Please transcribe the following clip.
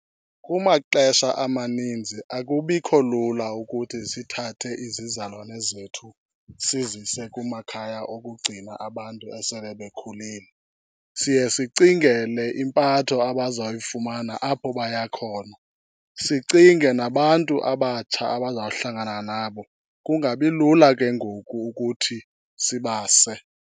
Kumaxesha amaninzi akubikho lula ukuthi sithathe izizalwane zethu sizise kumakhaya okugcina abantu esele bekhulile. Siye sicingele impatho abazayifumana apho baya khona, sicinge nabantu abatsha abazawuhlangana nabo, kungabi lula ke ngoku ukuthi sibase.